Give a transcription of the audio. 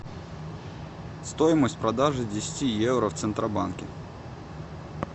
стоимость продажи десяти евро в центробанке